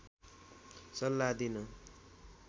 सल्लाह दिन